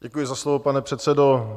Děkuji za slovo, pane předsedo.